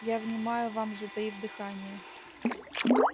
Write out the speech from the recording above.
я внимаю вам затаив дыхание